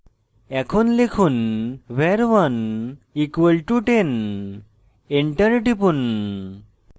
এখন লিখুন var1 = 10 এবং enter টিপুন